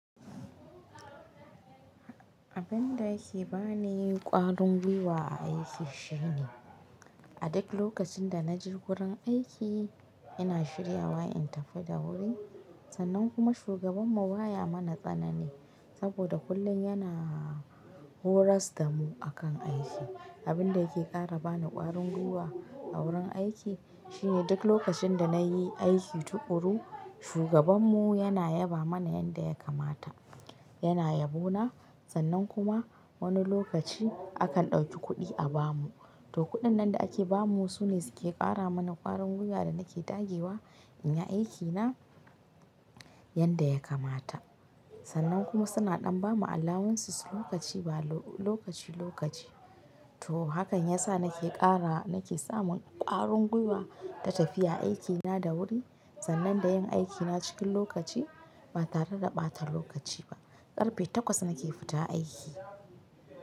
Abin da ke ba ni ƙwarin gwiwa a aiki shine, a duk lokacin da na je wurin aiki ina shirya wa in tafi da wuri. Sannan kuma shugabanmu baya mana tsanani saboda kullum yana horas da mu akan aiki. Abin da yake ƙara bani ƙwarin gwiwa a wurin aiki shine duk lokacin da na yi aiki tuƙuru, shugabanmu yana yaba mana yanda ya kamata. Yana yabona sannan kuma wani lokaci akan ɗauki kuɗi a ba mu. To kuɗin nan da ake ba mu sune suke ƙara mana ƙwarin gwiwa da nake dage wa in yi aikina yanda ya kamata. Sannan kuma suna ɗan ba mu alawunsis lokaci ba lokaci, lokaci. To hakan yasa nake ƙara nake samun ƙwarin gwiwa ta tafiya aikina da wuri sannan da yin aikina cikin lokaci ba tare da ɓata lokaci ba. Ƙarfe takwas nake fita aiki.